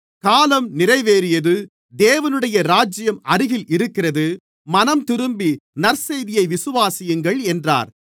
காலம் நிறைவேறியது தேவனுடைய ராஜ்யம் அருகில் இருக்கிறது மனந்திரும்பி நற்செய்தியை விசுவாசியுங்கள் என்றார்